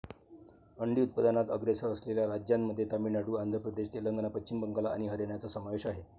अंडी उत्पादनात अग्रेसर असलेल्या राज्यांमध्ये तामिळनाडू, आंध्र प्रदेश, तेलंगणा, पश्चिम बंगाल आणि हरियाणाचा समावेश आहे.